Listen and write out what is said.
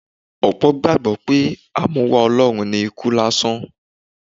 Ọ̀pọ̀ gbàgbọ́ pé A mú wá Ọlọ́run ni ikú lásán.